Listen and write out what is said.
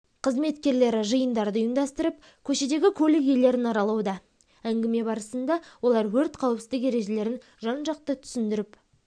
қызметкерлері жиындарды ұйымдастырып көшедегі көлік иелерін аралауда әнгіме барысында олар өрт қауіпсіздік ережелерін жан-жақты түсіндіріп